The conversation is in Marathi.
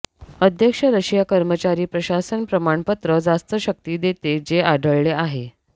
अध्यक्ष रशिया कर्मचारी प्रशासन प्रमाणपत्र जास्त शक्ती देते जे आढळले आहे